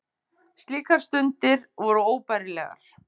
Slíkar stundir voru óbærilegar.